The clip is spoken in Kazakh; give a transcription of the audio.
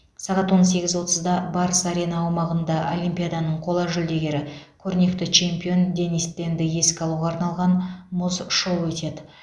сағат он сегіз отызда барыс арена аумағында олимпиаданың қола жүлдегері көрнекті чемпион денис тенді еске алуға арналған мұз шоуы өтеді